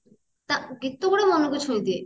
ଗୀତ ଗୁଡା ମନକୁ ଛୁଇଦିଏ